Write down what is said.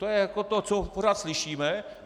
To je jako to, co pořád slyšíme.